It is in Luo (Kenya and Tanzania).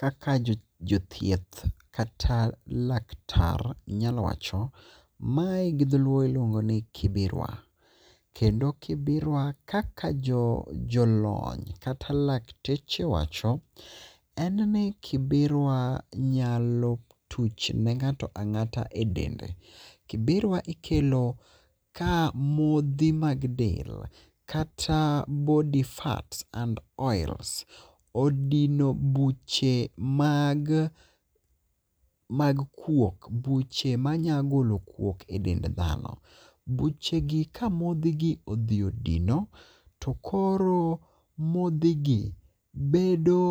Kaka jothieth kata laktar nyalo wacho mae gi dholuo iluongo ni kibirwa. Kendo kibirwa kaka jolony kata lakteche wacho en ni kibirwa nyalo tuch ne ng'ato ang'ata e dende. Kibirwa ikelo ka modhi mag del kata body fats and oils odino buche mag kuok buche manya golo kuok e dend dhano. Buche gi ka modhi gi odhi odino to koro modhi gi bedo